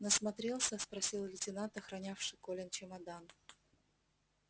насмотрелся спросил лейтенант охранявший колин чемодан